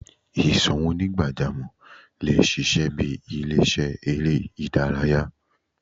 Ìsò àwọn onigbajamo le ṣiṣẹ bi ile-iṣẹ èrè idaraya